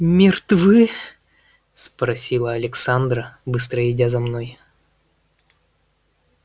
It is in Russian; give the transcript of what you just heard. мертвы спросила александра быстро идя за мной